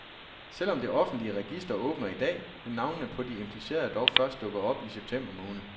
Selv om det offentlige register åbner i dag, vil navnene på de implicerede dog først dukke op i september måned.